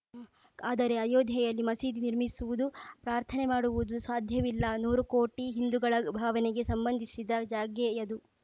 ಆದರೆ ಅಯೋಧ್ಯೆಯಲ್ಲಿ ಮಸೀದಿ ನಿರ್ಮಿಸುವುದು ಪ್ರಾರ್ಥನೆ ಮಾಡುವುದು ಸಾಧ್ಯವಿಲ್ಲ ನೂರು ಕೋಟಿ ಹಿಂದುಗಳ ಭಾವನೆಗೆ ಸಂಬಂಧಿಸಿದ ಜಾಗೆಯದು